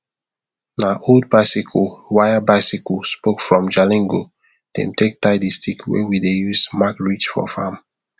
na old bicycle wirebicycle spokefrom jalingo dem take tie the stick wey we dey use mark ridge for farm